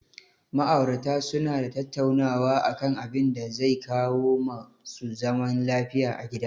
Ma'aurata su na tattaunawa a kan abinda zai kawo ma su zaman lafiya a gida